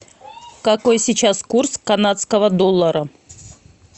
какой сейчас курс канадского доллара